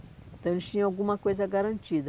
Então, eles tinham alguma coisa garantida.